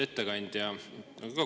Austatud ettekandja!